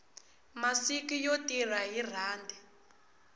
masiku yo tirha hi rhandi